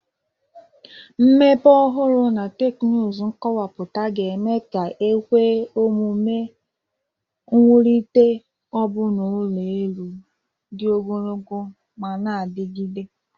Mmepe ọhụrụ na teknụzụ kọmpụta ga-eme ka o kwe omume iwulite ọbụna ụlọ elu dị ogologo ma na-adigide